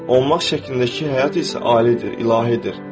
Olmaq şəklindəki həyat isə alidir, ilahidir.